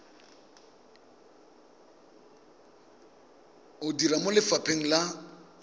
o dira mo lefapheng la